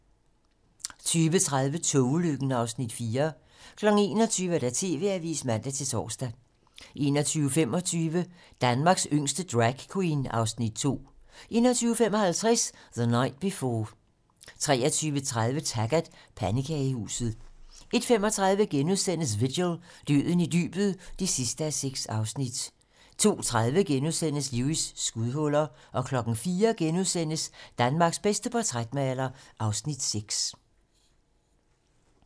20:30: Togulykken (Afs. 4) 21:00: TV-Avisen (man-tor) 21:25: Danmarks yngste Dragqueen (Afs. 2) 21:55: The Night Before 23:30: Taggart: Pandekagehuset 01:35: Vigil - Døden i dybet (6:6)* 02:30: Lewis: Skudhuller * 04:00: Danmarks bedste portrætmaler (Afs. 6)*